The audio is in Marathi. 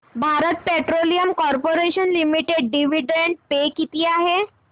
Bharat Petroleum Corporation Limited dividend pay किती आहे